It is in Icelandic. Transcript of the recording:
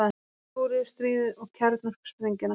Kóreustríðið og kjarnorkusprengjuna.